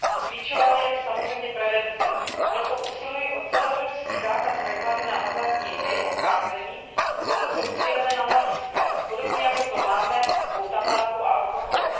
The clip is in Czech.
Klíčová je samozřejmě prevence, a proto usiluji o celoevropský zákaz reklamy na hazardní hry a sázení, pokud jsou cílené na mladistvé, podobně jako to máme u tabáku a alkoholu.